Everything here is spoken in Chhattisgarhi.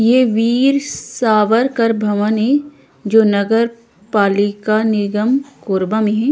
ये वीर सावरकर भवन ए जो नगर पालिका निगम कोरबा में हे।